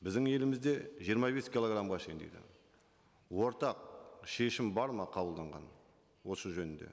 біздің елімізде жиырма бес килограммға шейін дейді ортақ шешім бар ма қабылданған осы жөнінде